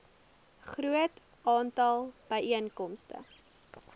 groot aantal byeenkomste